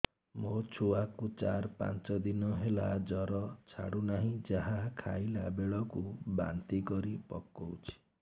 ମୋ ଛୁଆ କୁ ଚାର ପାଞ୍ଚ ଦିନ ହେଲା ଜର ଛାଡୁ ନାହିଁ ଯାହା ଖାଇଲା ବେଳକୁ ବାନ୍ତି କରି ପକଉଛି